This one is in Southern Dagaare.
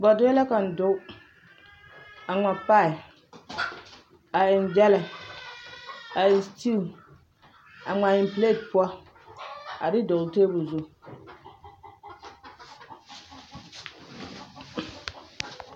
Bɔɔdɛɛ la kaŋ doge a ŋma kpal a eŋ gyɛlɛ a eŋ sitiwu a ŋmaa eŋ piileeti poɔ a de dɔgle tabol zu